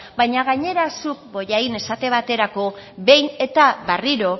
baina gainera zuk bollain esate baterako behin eta berriro